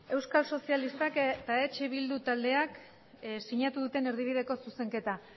euskal sozialistak eta eh bildu taldeak sinatu duten erdibideko zuzenketa